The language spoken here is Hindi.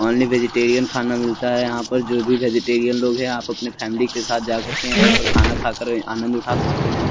ओन्ली वेजिटेरीअन खाना मिलता है यहाँ पर जो भी वेजिटेरीअन लोग है आप अपने फॅमिली के साथ जा करके यहाँ पर खाना खाकर आनंद उठा सकते है।